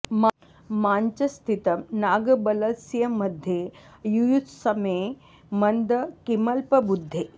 मां च स्थितं नागबलस्य मध्ये युयुत्समे मन्द किमल्पबुद्धे